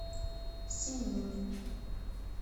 синнин